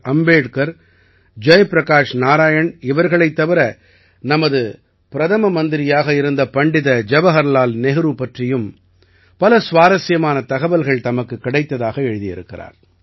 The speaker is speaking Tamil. அம்பேட்கர் ஜய் பிரகாஷ் நாராயண் இவர்களைத் தவிர நமது பிரதம மந்திரியாக இருந்த பண்டித ஜவஹர்லால் நேரு பற்றியும் பல சுவாரசியமான தகவல்கள் தமக்குக் கிடைத்ததாக எழுதியிருக்கிறார்